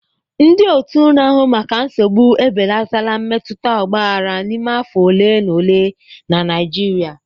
Ndị otu na-ahụ maka nsogbu ebelatala mmetụta ọgbaghara n'ime afọ ole na ole na Naịjirịa.